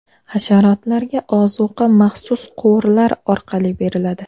Hasharotlarga ozuqa maxsus quvurlar orqali beriladi.